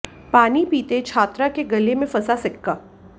पानी पीते छात्रा के गले में फंसा सिक्का